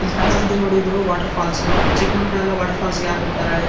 ಇಲ್ ಕಾಣಿಸ್ತಾ ಇದೆ ನೋಡಿ ಇದು ವಾಟರ್ ಫಾಲ್ಸ್ ಚಿಕ್ ಮಕ್ಕಳೆಲ್ಲ ವಾಟರ್ ಫಾಲ್ಸ್ಗೆ ಯಾಕ ಹೋಗ್ತಾರೆ ಹೇಳಿ?